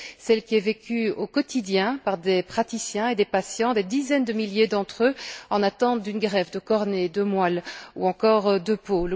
celle qui est vécue au quotidien par des praticiens et des patients, des dizaines de milliers d'entre eux en attente d'une greffe de cornée, de moelle ou encore de peau.